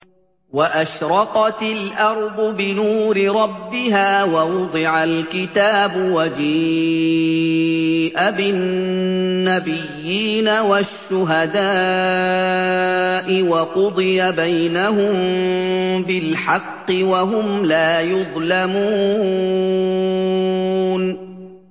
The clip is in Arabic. وَأَشْرَقَتِ الْأَرْضُ بِنُورِ رَبِّهَا وَوُضِعَ الْكِتَابُ وَجِيءَ بِالنَّبِيِّينَ وَالشُّهَدَاءِ وَقُضِيَ بَيْنَهُم بِالْحَقِّ وَهُمْ لَا يُظْلَمُونَ